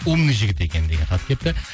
умный жігіт екен деген хат келіпті